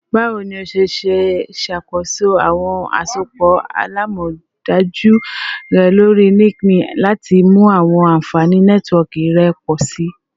Bawo ni o ṣe ṣakoso awọn asopọ alamọdaju rẹ lori LinkedIn lati mu awọn anfani Nẹtiwọọki rẹ pọ si?